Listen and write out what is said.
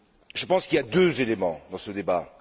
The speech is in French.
Je pense qu'il y a deux éléments dans ce débat.